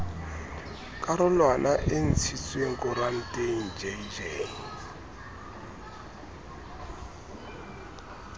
karolwana e ntshitsweng koranteng jj